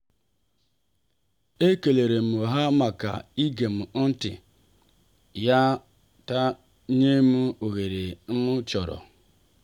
e kelerem ha maka igem ntị ya na inyem oghere m chọrọ.